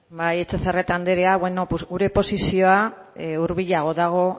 bai etxebarrieta anderea gure posizioa hurbilago dago